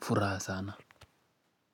furaha sana.